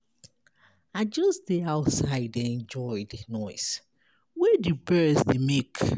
I just dey outside dey enjoy the noise wey the birds dey make.